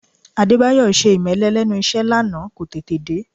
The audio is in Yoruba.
Adébáyọ̀ ṣe ìmẹ́lẹ́ lẹ́nu iṣẹ́ lánàá, kò tètè dé